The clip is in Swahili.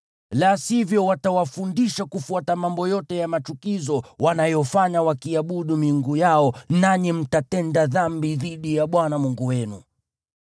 La sivyo, watawafundisha kufuata mambo yote ya machukizo wanayofanya wakiabudu miungu yao, nanyi mtatenda dhambi dhidi ya Bwana Mungu wenu.